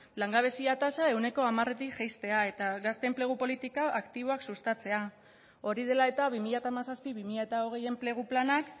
langabezia tasa ehuneko hamaretik jaistea eta gazte enplegu politika aktiboak sustatzea hori dela eta bi mila hamazazpi bi mila hogei enplegu planak